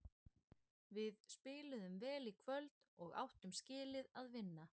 Við spiluðum vel í kvöld og áttum skilið að vinna.